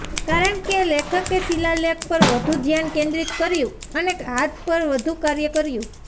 કારણ કે લેખકે શિલાલેખ પર વધુ ધ્યાન કેન્દ્રિત કર્યું અને હાથ પર વધુ કાર્ય કર્યું